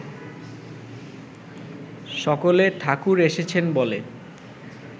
সকলে ‘ঠাকুর এসেছেন’ বলে